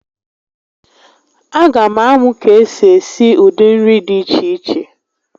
A ga m amụ ka esi esi ụdị nri dị iche iche